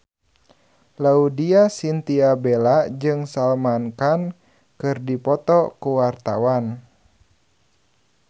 Laudya Chintya Bella jeung Salman Khan keur dipoto ku wartawan